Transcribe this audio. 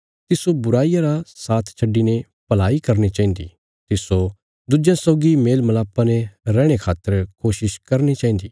तिस्सो बुराईया रा साथ छड्डिने भलाई करनी चाहिन्दी तिस्सो दुज्जेयां सौगी मेलमलापा ने रैहणे खातर कोशिश करनी चाहिन्दा